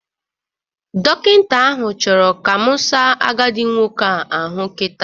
Dọkịta ahụ chọrọ ka mụ saa agadi nwoke a ahụ kita.